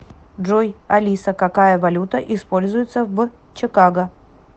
джой алиса какая валюта используется в чикаго